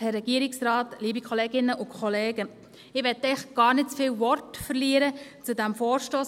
Ich will eigentlich gar nicht zu viele Worte verlieren zu diesem Vorstoss.